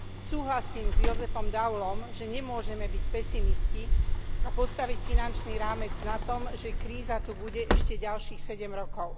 Súhlasím s Josephom Daulom, že nemôžeme byť pesimisti a postaviť finančný rámec na tom, že kríza tu bude ešte ďalších sedem rokov.